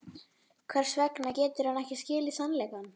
Hvers vegna getur hann ekki skilið sannleikann?